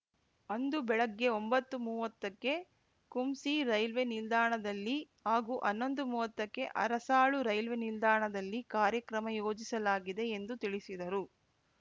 ಅಂದು ಬೆಳಗ್ಗೆ ಒಂಬತ್ತುಮೂವತ್ತಕ್ಕೆ ಕುಂಸಿ ರೈಲ್ವೆ ನಿಲ್ದಾಣದಲ್ಲಿ ಹಾಗೂ ಹನ್ನೊಂದುಮೂವತ್ತಕ್ಕೆ ಅರಸಾಳು ರೈಲ್ವೆ ನಿಲ್ದಾಣದಲ್ಲಿ ಕಾರ್ಯಕ್ರಮ ಯೋಜಿಸಲಾಗಿದೆ ಎಂದು ತಿಳಿಸಿದರು